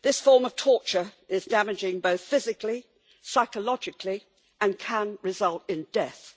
This form of torture is damaging both physically, psychologically and can result in death.